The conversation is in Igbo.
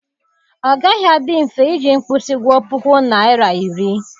Ọ gaghị adị mfe iji mkpụsị gụọ pukọ naịra iri.